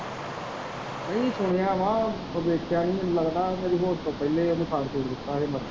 ਨਹੀਂ ਸੁਣਿਆ ਵਾ ਪਰ ਦੇਖਿਆ ਨਹੀਂ ਮੈਨੂੰ ਲਗਦਾ ਮੇਰੀ ਹੋਸ਼ ਤੋਂ ਪਹਿਲੇ ਓਹਨੂੰ ਫਾਂਸੀ ਦਿੱਤਾ ਸੀ